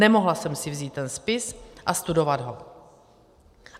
Nemohla jsem si vzít ten spis a studovat ho.